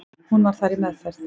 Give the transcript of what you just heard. Hún var þar í meðferð.